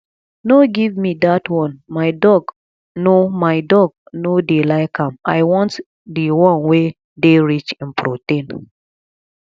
no give me dat one my dog no my dog no dey like am i want the wan wey dey rich in protein